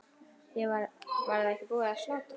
Var ekki búið að slátra?